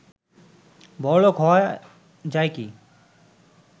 বড়লোক হওয়া যায় কি